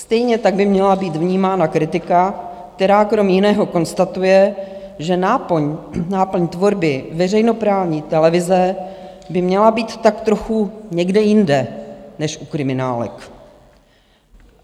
Stejně tak by měla být vnímána kritika, která krom jiného konstatuje, že náplň tvorby veřejnoprávní televize by měla být tak trochu někde jinde než u kriminálek.